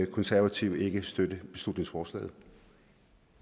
konservative ikke støtte